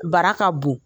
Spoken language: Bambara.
Bara ka bon